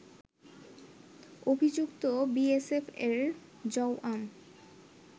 অভিযুক্ত বিএসএফ এর জওয়াম